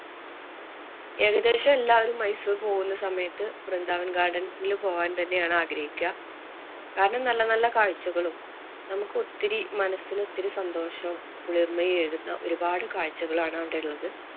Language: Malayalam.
ഏകദേശം എല്ലാരും മൈസൂര്‍ പോകുന്ന സമയത്ത് വൃന്ദാവന്‍ garden ല് പോകാന്‍ തന്നെയാണ് ആഗ്രഹിക്കുക. കാരണം, നല്ല നല്ല കാഴ്ചകളും, നമുക്ക് ഒത്തിരി മനസിന്‌ ഒത്തിരി സന്തോഷവും, കുളിര്‍മ്മയും ഏകുന്ന ഒരുപാട് കാഴ്ചകള്‍ ആണ് അവിടെയുള്ളത്.